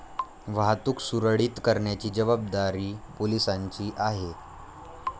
वाहतुक सुरळीत करण्याची जबाबदारी पोलिसांची आहे.